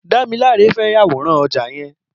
Damilola fè yàwóràn ọ̀já yèn